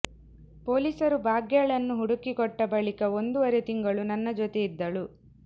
ಪೊಲೀಸರು ಭಾಗ್ಯಳನ್ನು ಹುಡುಕಿಕೊಟ್ಟ ಬಳಿಕ ಒಂದೂವರೆ ತಿಂಗಳು ನನ್ನ ಜೊತೆ ಇದ್ದಳು